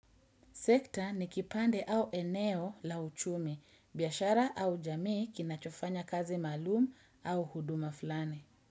Sekta ni kipande au eneo la uchumi, biashara au jamii kinachofanya kazi maalum au huduma fulani.